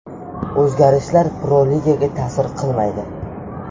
O‘zgarishlar Pro-ligaga ta’sir qilmaydi.